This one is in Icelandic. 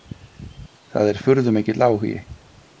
Það er furðumikill áhugi.